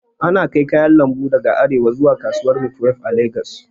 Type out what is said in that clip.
Ana kai kayan lambu daga arewa zuwa kasuwar maitwef a lagos